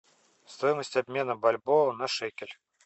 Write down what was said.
стоимость обмена бальбоа на шекель